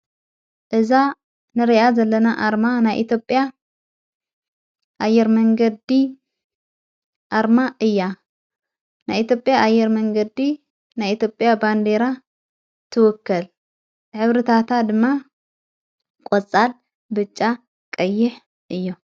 እዛ ንርኣ ዘለና ኣርማ ናይ ኢትጴያ ኣየር መንገዲ ኣርማ እያ ናይ ኤትዮጵያ ኣየር መንገዲ ናይኤትዮጴያ ባንዴራ ትወከል ሕብሪ ታታ ድማ ቖጻል፣ ብጫ ፣ቀይሕ እዮ።